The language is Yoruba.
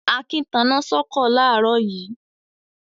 Akin taná sọ́kọ̀ láàárọ̀ yìí.